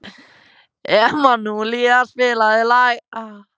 Emanúela, spilaðu lag.